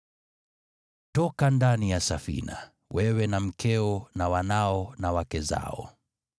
“Toka ndani ya safina, wewe na mkeo na wanao na wake zao.